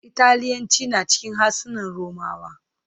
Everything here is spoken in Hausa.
Italian is known as one of the romance language.